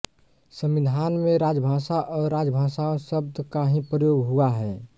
संविधान में राजभाषा और राजभाषाओं शब्द का ही प्रयोग हुआ है